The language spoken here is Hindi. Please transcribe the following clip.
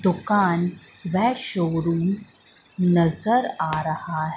दुकान बेस्ट शोरूम नजर आ रहा--